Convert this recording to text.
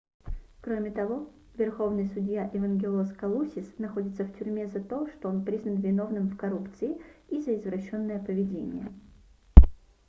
кроме того верховный судья эвангелос калусис находится в тюрьме за то что он признан виновным в коррупции и за извращенное поведение